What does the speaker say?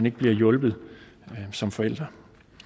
ikke bliver hjulpet som forældre